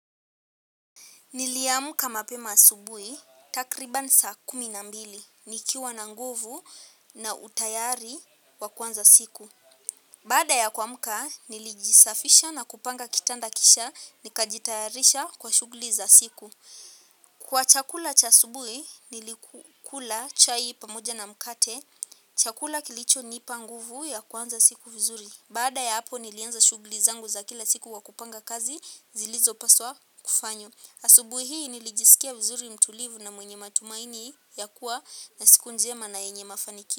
Niliamuka mapema asubuhi, takribani saa kumi na mbili, nikiwa na nguvu na utayari wa kuanza siku. Badaa ya kuamuka, nilijisafisha na kupanga kitanda kisha, nikajitayarisha kwa shughuli za siku. Kwa chakula cha asubuhi, nilikula chai pamoja na mkate, chakula kilichonipa nguvu ya kuanza siku vizuri. Baada ya hapo, nilianza shughuli zangu za kila siku kwa kupanga kazi, zilizopaswa kufanywa. Asubuhi hii nilijisikia vzuri mtulivu na mwenye matumaini ya kuwa na siku njema na yenye mafanikio.